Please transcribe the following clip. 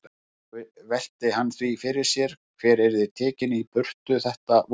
Nú velti hann því fyrir sér hver yrði tekinn í burtu þetta vorið.